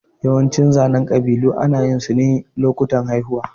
Yawancin zanen ƙabilu ana yin su ne lokacin haihuwa.